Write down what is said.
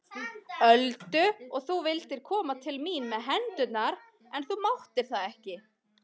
Öldu og þú vildir koma til mín með hendurnar en þú máttir það ekki.